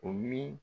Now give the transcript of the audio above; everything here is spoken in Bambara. O mi